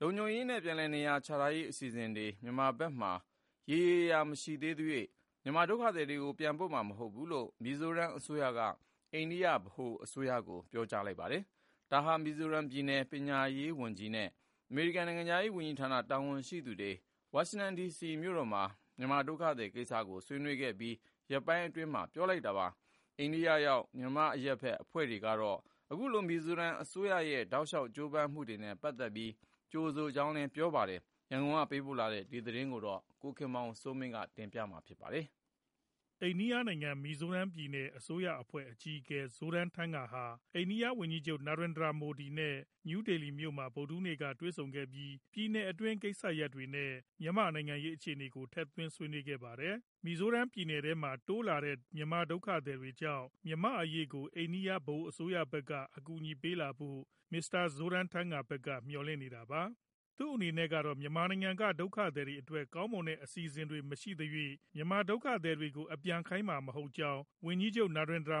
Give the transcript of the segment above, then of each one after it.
လုံခြုံရေးနဲ့ ပြန်လည်နေရာချထားရေး အစီအစဉ်တွေ မြန်မာဘက်မှာ ရေရေရာရာမရှိသေးသရွေ့ မြန်မာဒုက္ခသည်တွေကို ပြန်ပို့မှာမဟုတ်ဘူးလို့ မီဇိုရမ်ပြည်နယ် အစိုးရက အိန္ဒိယ ဗဟိုအစိုးရကို ပြောလိုက်ပါတယ်။ ဒါဟာ မီဇိုရမ်ပြည်နယ် ပညာရေးဝန်ကြီးနဲ့ အမေရိကန်နိုင်ငံခြားရေးဌာနက တာဝန်ရှိသူတွေ ဝါရှင်တန်ဒီစီမှာ မြန်မာဒုက္ခသည်ကိစ္စကို ဆွေးနွေးခဲ့ပြီး ရက်ပိုင်းအတွင်းမှာ အခုလိုပြောလိုက်တာပါ။ အိန္ဒိယရောက် မြန်မာအရပ်ဘက် အဖွဲ့တွေကတော့ အခုလို မီဇိုရမ်အစိုးရရဲ့ တောက်လျှောက် ကြိုးပမ်းမှုတွေနဲ့ ပတ်သက်ပြီး ကြိုဆိုကြောင်းပြောပါတယ်။ ရန်ကုန်ကပေးပို့တဲ့ ဒီသတင်းကို ကိုခင်မောင်စိုးမင်း က ပြောပြမှာပါ။ အိန္ဒိယနိုင်ငံ၊ မီဇိုရမ်ပြည်နယ် အစိုးရဝန်ကြီးချုပ် Zoramthanga ဟာ အိန္ဒိယ ဗဟိုအစိုးရ ဝန်ကြီးချုပ် နာရင်ဒရာမိုဒီ နဲ့ နယူးဒေလီမှာ ဗုဒ္ဓဟူးနေ့က တွေ့ဆုံခဲ့ပြီး ပြည်နယ်အတွင်း ကိစ္စရပ်တွေနဲ့ မြန်မာနိုင်ငံရေး အခြေအနေတွေကို ထည့်သွင်းဆွေးနွေးခဲ့ပါတယ်။ မီဇိုရမ်ပြည်နယ်ထဲမှာ တိုးလာတဲ့ မြန်မာဒုက္ခသည်တွေကြောင့် မြန်မာ့အရေးကို အိန္ဒိယ ဗဟိုအစိုးရဘက်က အကူအညီပေးလာဖို့ မစ္စတာ Zoramthanga ဘက်က မျှော်လင့်နေတာပါ။ သူ့အနေနဲ့ကတော့ မြန်မာနိုင်ငံမှာ ဒုက္ခသည်တွေအတွက် ကောင်းမွန်တဲ့ အစီအစဉ်တွေ မရှိသေးသရွေ့ မြန်မာဒုက္ခသည်တွေကို ပြန်လွှတ်မှာမဟုတ်ကြောင်း ဝန်ကြီးချုပ်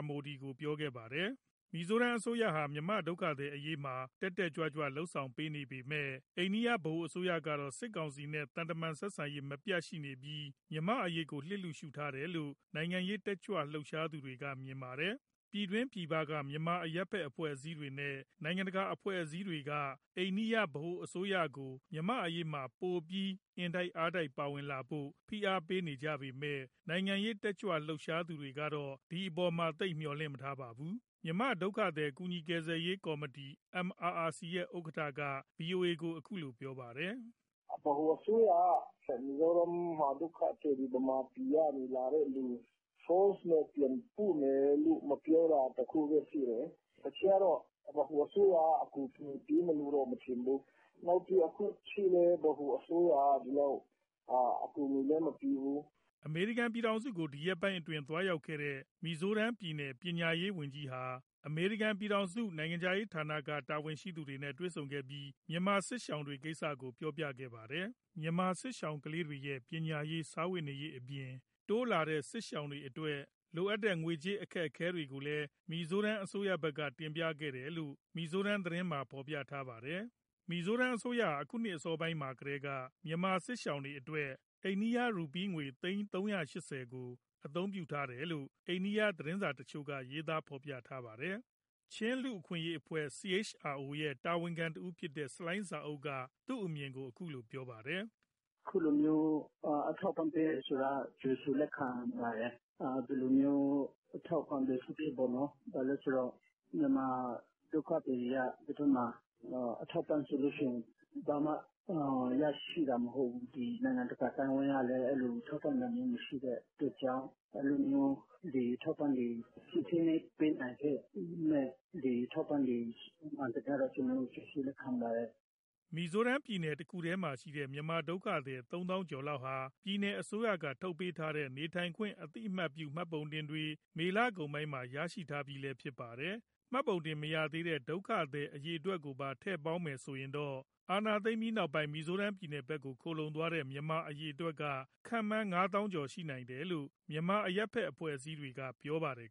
မိုဒီ ကို ပြောခဲ့ပါတယ်။ မီဇိုရမ်အစိုးရဟာ မြန်မာဒုက္ခသည်အရေးမှာ တက်တက်ကြွကြွ လုပ်ဆောင်နေပေမဲ့ အိန္ဒိယဗဟိုအစိုးရကတော့ စစ်ကောင်စီနဲ့ သံတမန်ဆက်ဆံရေး မပြတ်ရှိနေပြီး မြန်မာ့အရေးကို လျစ်လျူရှုထားတယ်လို့ နိုင်ငံရေးတက်ကြွသူတွေက မြင်ပါတယ်။ ပြည်တွင်းပြည်ပက မြန်မာအရပ်ဘက်အဖွဲ့တွေနဲ့ နိုင်ငံတကာအဖွဲ့အစည်းတွေက အိန္ဒိယဗဟိုအစိုးရကို မြန်မာ့အရေးမှာ ပိုပြီးအင်တိုက်အားတိုက်ပါဝင်လာဖို့ ဖိအားပေးနေကြပေမဲ့ နိုင်ငံရေးတက်ကြွသူတွေကတော့ ဒီအပေါ်မှာ သိပ်မျှော်လင့်မထားပါဘူး။ မြန်မာဒုက္ခသည် ကူညီကယ်ဆယ်ရေးကော်မတီ MRRC ရဲ့ဥက္ကဋ္ဌက ဗွီအိုအေကို ပြောပါတယ်။ " ဗဟိုအစိုးရက မီဇိုရမ်မှာ ဒုက္ခသည်တွေ၊ မြန်မာပြည်ကနေ လာတဲ့သူတွေကို force နဲ့ပြန်ပို့မယ်လို့ မပြောတာတခုပဲရှိတယ်၊ တခြားတော့ ဗဟိုအစိုးရက အကူအညီပေးမယ်လို့တော့ မထင်ဘူး။ နောက်ပြီး အခုအထိလည်း ဗဟိုအစိုးရက ဒီလောက်အကူအညီလည်း မပေးဘူး။" အမေရိကန် ပြည်ထောင်စုကို ဒီရက်ပိုင်းအတွင်း သွားရောက်ခဲ့တဲ့ မီဇိုရမ်ပြည်နယ် ပညာရေးဝန်ကြီးဟာ အမေရိကန်ပြည်ထောင်စု နိုင်ငံခြားရေးဌာနက တာဝန်ရှိသူတွေနဲ့ တွေ့ဆုံခဲ့ပြီး မြန်မာစစ်ရှောင်တွေကိစ္စကို ပြောပြခဲ့ပါတယ်။ မြန်မာစစ်ရှောင်ကလေးတွေရဲ့ ပညာရေး၊ စားဝတ်နေရေးအပြင် တိုးလာတဲ့စစ်ရှောင်တွေအတွက် ငွေကြေးလိုအပ်ချက် အခက်အခဲတွေကိုလည်း မီဇိုရမ်အစိုးရဘက်က တင်ပြခဲ့တယ်လို့ မီဇိုရမ်ပြည်နယ် သတင်းတချို့မှာ ဖော်ပြထားပါတယ်။ မီဇိုရမ်အစိုးရဟာ အခုနှစ်အစောပိုင်းကာလမှာကတည်းက မြန်မာစစ်ရှောင်တွေအတွက် အိန္ဒိယရူးပီးငွေ သိန်း၃၈၀ကို အသုံးပြုထားတယ်လို့ အိန္ဒိယ သတင်းစာတချို့က ရေးသားဖော်ပြထားပါတယ်။ ချင်းလူ့အခွင့်အရေးဖွဲ့ CHRO ရဲ့ တာဝန်ခံတဦးဖြစ်တဲ့ ဆလိုင်းဇာအုပ်က ဒီအပေါ်မှာ သူ့အမြင်ကို ပြောပြပါတယ်။ " အခုလိုမျိုး အထောက်အပံ့ ပေးတယ်ဆိုတာ ကြိုဆိုလက်ခံပါတယ်။ ဘယ်လိုမျိုး အထောက်အပံ့ပဲဖြစ်ဖြစ်ပေါ့နော်။ ဘာလို့လဲဆိုတော့ မြန်မာဒုက္ခသည်တွေက ဒီဘက်မှာ အထောက်အပံ့ဆိုရင် ဘာမှရရှိတာမဟုတ်ဘူး။ ဒီနိုင်ငံတကာ အသိုင်းအဝန်း ကလည်း ထောက်ပံ့တာမျိုး မရှိတဲ့အတွက်ကြောင့် အဲလိုမျိုးအထောက်အပံ့တွေ ဖြည့်ဆည်းပေးနိုင်တဲ့ဟာ ကျနော်တို့ ကြိုဆိုလက်ခံပါတယ်။" မီဇိုရမ်ပြည်နယ် တခုတည်းမှာရှိတဲ့ မြန်မာဒုက္ခသည် သုံးသောင်းကျော်လောက်ဟာ ပြည်နယ်အစိုးရထုတ်ပေးတဲ့ နေထိုင်ခွင့် အသိအမှတ်ပြု မှတ်ပုံတင်တွေ မေလကုန်ပိုင်းမှာ ရရှိထားပြီးလည်း ဖြစ်ပါတယ်။ မှတ်ပုံတင်မရရှိသေးတဲ့ ဒုက္ခသည်အရေအတွက်ကိုပါ ထည့်ပေါင်းမယ်ဆိုရင် အာဏာသိမ်းပြီးနောက်ပိုင်း မီဇိုရမ်ဘက် ခိုလှုံသွားတဲ့ မြန်မာအရေအတွက်က ငါးသောင်းကျော်ရှိတယ်လို့ မြန်မာအရပ်ဘက်အဖွဲ့တွေက ပြောပါတယ်